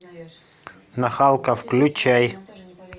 нахалка включай